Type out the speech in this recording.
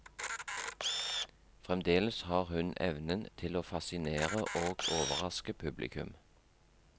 Fremdeles har hun evnen til å fascinere og overraske publikum.